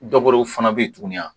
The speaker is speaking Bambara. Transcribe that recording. fana bɛ yen tuguni wa